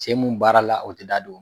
Cɛ mun baarala, o te d'a don